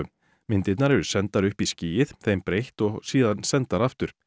myndirnar eru sendar upp í skýið þeim breytt og síðan sendar aftur